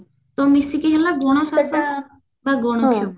ତ ମିଶିକିରି ନା ଗଣ ଶାସନ